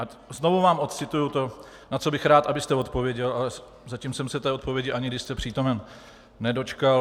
A znovu vám odcituji to, na co bych rád, abyste odpověděl, ale zatím jsem se té odpovědi, ani když jste přítomen, nedočkal.